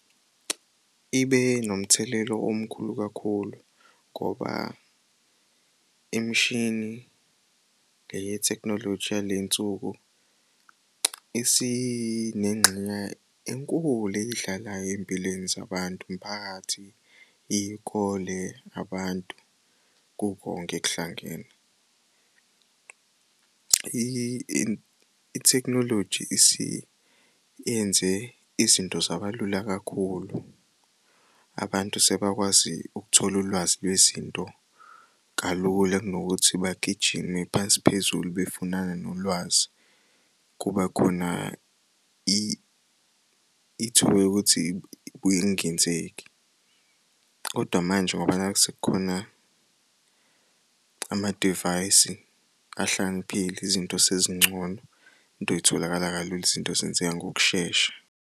Ibe nomthelela omkhulu kakhulu ngoba imishini le yethekhinoloji yale nsuku isinengxenye enkulu eyidlalayo ey'mpilweni zabantu, imiphakathi, iy'kole, abantu, kukonke kuhlangene. Ithekhnoloji isiyenze izinto zaba lula kakhulu, abantu sebakwazi ukuthola ulwazi lwezinto kalula kunokuthi bagijime phansi phezulu befunana nolwazi. Kube khona ithuba lokuthi kubuye kungenzeki, kodwa manje ngoba nakhu sekukhona amadivayisi ahlakaniphile izinto sezingcono, into y'tholakala kalula izinto zenzeka ngokushesha.